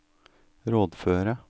rådføre